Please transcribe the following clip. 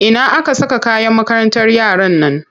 Ina aka saka kayan makarantar yaran nan?